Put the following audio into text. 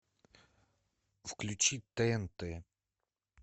включи тнт